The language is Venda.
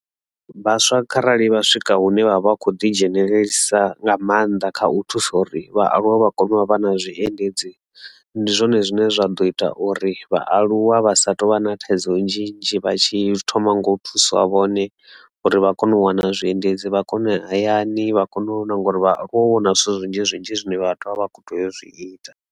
Vhaswa kharali vha swika hune vha vha kho ḓi dzhenelelisa nga maanḓa kha u thusa uri vhaaluwa vha kone u vha vha na zwiendedzi ndi zwone zwine zwa ḓo ita uri vhaaluwa vha sa touvha na thaidzo nnzhi nnzhi vha tshi thoma nga u thusa vhone uri vha kone u wana zwiendedzi vha kone u ya hayani vha kone u na ngori vhaaluwa u vha na zwithu zwinzhi zwinzhi zwine vhathu vha vha kho tea u zwi ita.